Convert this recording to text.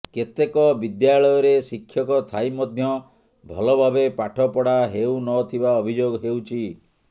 କେତେକ ବିଦ୍ୟାଳୟରେ ଶିକ୍ଷକ ଥାଇ ମଧ୍ୟ ଭଳଭାବେ ପାଠପଢା ହେଉନଥିବା ଅଭିଯୋଗ ହେଉଛି